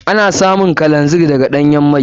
Ana samun man kero daga ɗanyan mai.